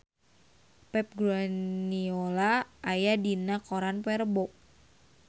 Pep Guardiola aya dina koran poe Rebo